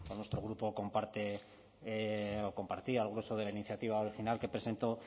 nuestro grupo comparte o compartía el grueso de la iniciativa original que presentó